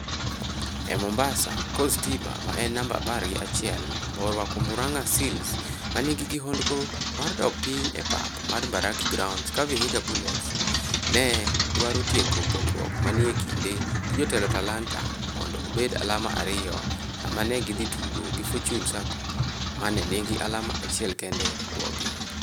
E Mombasa, Coast Stima ma en namba apar gi achiel borwako Muranga Seals manigi kihondko mar dok piny e pap mar Mbaraki Grounds ka Vihiga Bullets ne dwaro tieko pogruok ma ni e kinde gi jotelo Talanta mondo obed alama ariyo sama ne gidhi tugo gi Fortune Sacco ma ne nigi alama achiel kende e bwogi.